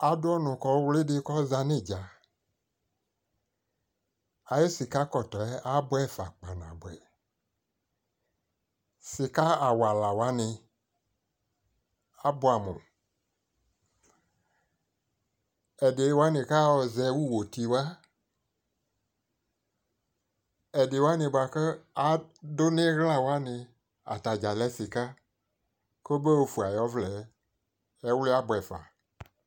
ɛfʋ yɛkʋ di lantɛ kʋ alʋ zati, zati nʋ ɛdiniɛ kʋ abʋ kʋ alɛ ɛtʋ fʋɛ alʋ sɔɔ la dʋ ɛƒɛ kʋ ɛkʋ yɛ di lɛnʋ ɛkplɔɛ aɣa, ɛdini dʋ kplayingba li kʋ ɛwia kadigba nʋ ɛdiniɛ kʋ ɛdiniɛ abʋɛ amʋ